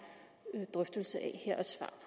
drøftelse af